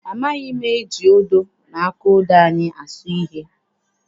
Amaghị m eji odo na aka odo anyị asụ ihe.